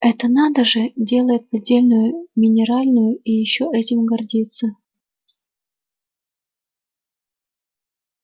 это надо же делает поддельную минеральную и ещё этим гордится